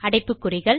அடைப்புகுறிகள்